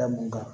Da mun kan